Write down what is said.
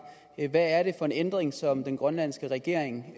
hvad er det for en ændring som den grønlandske regering